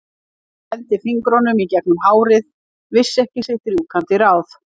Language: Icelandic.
Hann renndi fingrunum í gegnum hárið, vissi ekki sitt rjúkandi ráð.